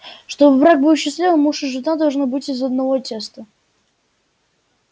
чтобы брак был счастливым муж и жена должны быть из одного теста